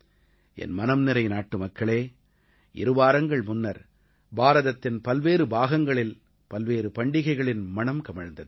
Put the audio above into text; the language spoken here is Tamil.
என் மனம்நிறை நாட்டுமக்களே இருவாரங்கள் முன்னர் பாரதத்தின் பல்வேறு பாகங்களில் பல்வேறு பண்டிகைகளின் மணம் கமழ்ந்தது